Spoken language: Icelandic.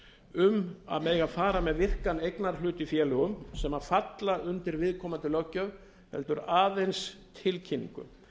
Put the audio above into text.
um að mega fara með virkan eignarhlut í félögum sem falla undir viðkomandi löggjöf heldur aðeins tilkynningu